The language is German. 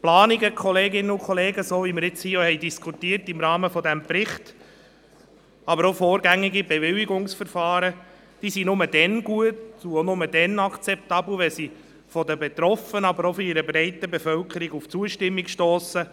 Planungen und vorgängige Bewilligungsplanungen sind nur dann gut und akzeptabel, wenn sie bei den Betroffenen, aber auch bei der breiten Bevölkerung auf Zustimmung stossen.